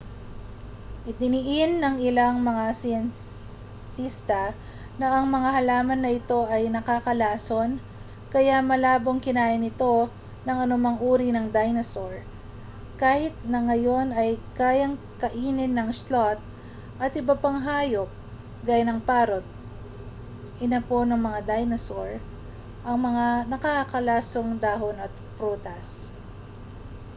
idiniin ng ilang mga siyentista na ang mga halaman na ito ay nakalalason kaya malabong kinain ito ng anumang uri ng dinosaur kahit na ngayon ay kayang kainin ng sloth at ibang hayop gaya ng parrot inapo ng mga dinosaur ang mga nakalalasong dahon o prutas